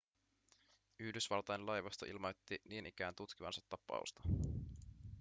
yhdysvaltain laivasto ilmoitti niin ikään tutkivansa tapausta